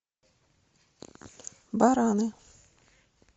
бараны